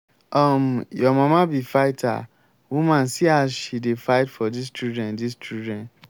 um your mama be fighter woman see as she dey fight tor dis children dis children